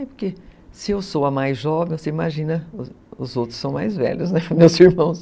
É porque se eu sou a mais jovem, você imagina os outros são mais velhos, né, meus irmãos.